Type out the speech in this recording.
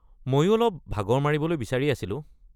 মইও অলপ ভাগৰ মাৰিবলৈ বিচাৰি আছিলো।